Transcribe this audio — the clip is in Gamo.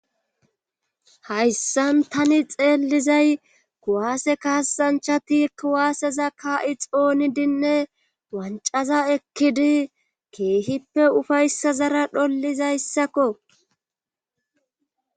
hayssan tani xeellizay kuwaase kaassanchchati kuwaaseza kaa7i xoonidinne wanccaza ekkidi keehippe ufayssazara dhollizayssakko.